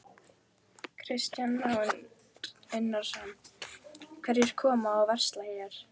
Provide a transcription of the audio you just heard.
Kristján Már Unnarsson: Hverjir koma og versla hér?